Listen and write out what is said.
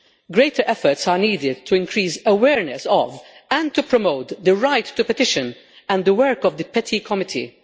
Greater efforts are needed to increase awareness of, and to promote, the right to petition and the work of the Petitions Committee.